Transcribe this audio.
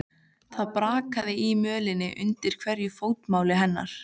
Það brakaði í mölinni undir hverju fótmáli hennar.